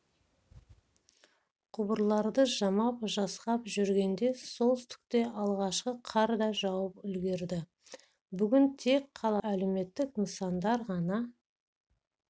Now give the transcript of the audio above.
құбырларды жамап-жасқап жүргенде солтүстікте алғашқы қар да жауып үлгірді бүгін тек қаладағы әлеуметтік нысандар ғана